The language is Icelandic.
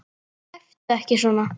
Æptu ekki svona!